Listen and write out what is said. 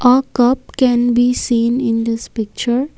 a cup can be seen in this picture.